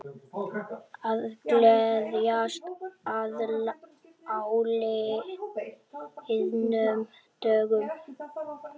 Að gleðjast að áliðnum dögum